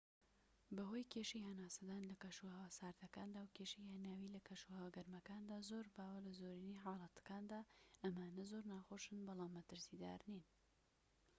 بەهۆی کێشەی هەناسەدان لە کەشوهەوا ساردەکاندا و کێشەی هەناویی لە کەشوهەوا گەرمەکاندا زۆر باوە لە زۆرینەی حاڵەتەکاندا ئەمانە زۆر ناخۆشن بەڵام مەترسیدار نین